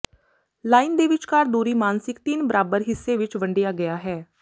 line ਦੇ ਵਿਚਕਾਰ ਦੂਰੀ ਮਾਨਸਿਕ ਤਿੰਨ ਬਰਾਬਰ ਹਿੱਸੇ ਵਿੱਚ ਵੰਡਿਆ ਗਿਆ ਹੈ